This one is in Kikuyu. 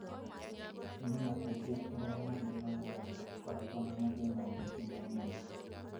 Atumia aingĩ arĩa marĩ na nda matikoragwo na mathĩna maingĩ ma mwĩrĩ.